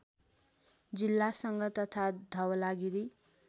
जिल्लासँग तथा धवलागिरी